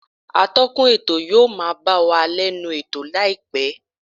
Atọ́kùn ètò yóò máa bá wa lẹ́nu ètò láìpẹ́